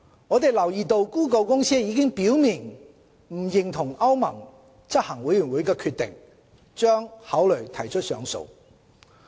我們留意到谷歌公司已表明不認同歐盟執行委員會的決定，將考慮提出上訴。